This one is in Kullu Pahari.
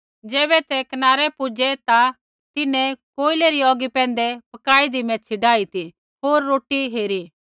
ज़ैबै ते कनारै पुज़ै ता तिन्हैं कोयलै री औगी पैंधै पकाइदी मैच्छ़ी डाई ती होर रोटी हेरी